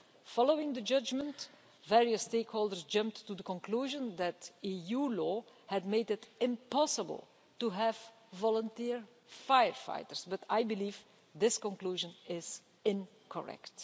Following the judgment, various stakeholders jumped to the conclusion that EU law had made it impossible to have volunteer firefighters, but I believe this conclusion is incorrect.